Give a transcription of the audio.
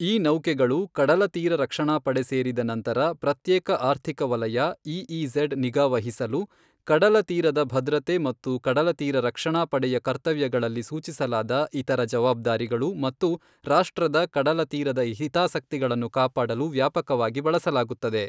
ಈ ನೌಕೆಗಳು ಕಡಲ ತೀರ ರಕ್ಷಣಾ ಪಡೆ ಸೇರಿದ ನಂತರ ಪ್ರತ್ಯೇಕ ಆರ್ಥಿಕ ವಲಯ ಇಇಝೆಡ್ ನಿಗಾವಹಿಸಲು, ಕಡಲ ತೀರದ ಭದ್ರತೆ ಮತ್ತು ಕಡಲ ತೀರ ರಕ್ಷಣಾ ಪಡೆಯ ಕರ್ತವ್ಯಗಳಲ್ಲಿ ಸೂಚಿಸಲಾದ ಇತರ ಜವಾಬ್ದಾರಿಗಳು ಮತ್ತು ರಾಷ್ಟ್ರದ ಕಡಲ ತೀರದ ಹಿತಾಸಕ್ತಿಗಳನ್ನು ಕಾಪಾಡಲು ವ್ಯಾಪಕವಾಗಿ ಬಳಸಲಾಗುತ್ತದೆ.